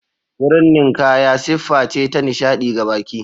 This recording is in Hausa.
Wurin ninkaya siffa ce ta nishaɗi ga baƙi.